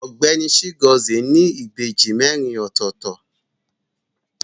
Ọgbẹni Chigozie ni ìbejì merin ọ̀tọ̀ọ̀tọ̀.